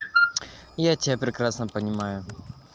я тебя прекрасно понимаю